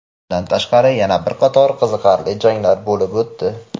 Bundan tashqari yana bir qator qiziqarli janglar bo‘lib o‘tdi.